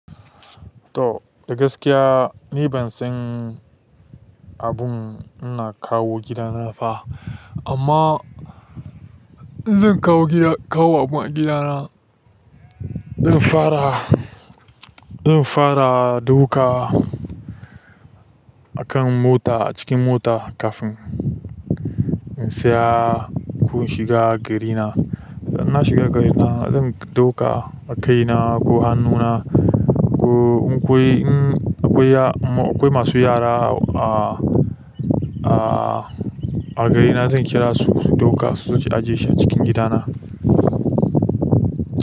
To, a gaskiya ni ban san abun ina kawo gidana ba. Amma in zan kawo gida, kawo abun a gidana, zan fara, zan fara ɗauka a kan mota, a cikin mota kafin in saya ko in shiga garina. Idan na shiga garina, zan ɗauka a kai na ko a hannuna ko in akwai, akwai masu yara a garina zan kirasu su ɗauka suje su ajiye a cikin gidana.